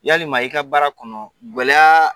Yali ma i ka baara kɔnɔ gɛlɛyaa